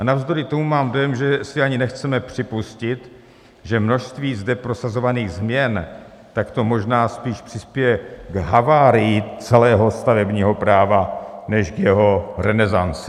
A navzdory tomu mám dojem, že si ani nechceme připustit, že množství zde prosazovaných změn - tak to možná spíš přispěje k havárii celého stavebního práva než k jeho renesanci.